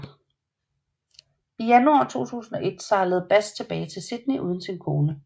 I januar 1801 sejlede Bass tilbage til Sydney uden sin kone